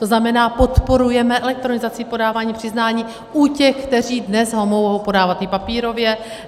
To znamená, podporujeme elektronizaci, podávání přiznání u těch, kteří dnes ho mohou podávat i papírově.